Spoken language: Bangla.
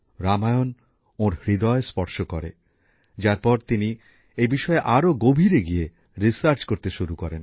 রামায়ণ ওঁর হৃদয় স্পর্শ করে যার পর তিনি এই বিষয়ে আরও গভীরে গিয়ে গবেষণা করতে শুরু করেন